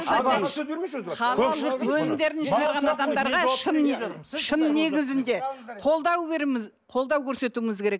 қолдау көрсетуіміз керек